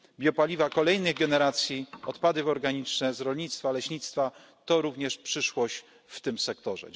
Biopaliwa kolejnej generacji, odpady organiczne z rolnictwa, leśnictwa to również przyszłość w tym sektorze.